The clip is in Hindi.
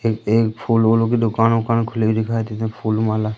एक एक फूल उलो की दुकान उकान खुली हुई दिखाई दे फूल माला--